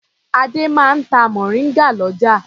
Adé máa ń ta mòríngà lọ́jà.